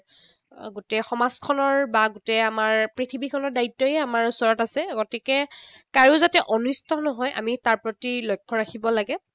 গোটেই সমাজখনৰ বা গোটেই আমাৰ পৃথৱীখনৰ দ্বায়িত্বই আমাৰ ওচৰত আছে। গতিকে কাৰো যাতে অনিষ্ট নহয়, আমি তাৰ প্ৰতি লক্ষ্য ৰাখিব লাগে।